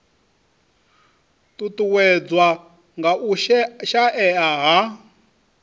ṱuṱuwedzwa nga u shaea ha